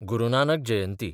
गुरू नानक जयंती